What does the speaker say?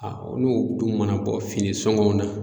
olu dun mana bɔ fini sɔŋɔw na